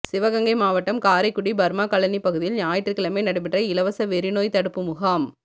சிவகங்கை மாவட்டம் காரைக்குடி பா்மாகாலனி பகுதியில் ஞாயிற்றுக்கிழமை நடைபெற்ற இலவச வெறிநோய் தடுப்பு முகாம்